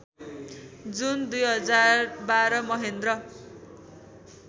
जुन २०१२ महेन्द्र